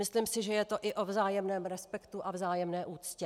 Myslím si, že je to i o vzájemném respektu a vzájemné úctě.